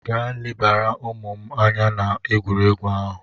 Gaa lebara ụmụ m anya n'ụlọ egwuregwu ahụ!